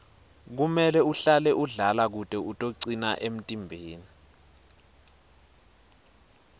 kumele uhlale udlala kute utocina emtimbeni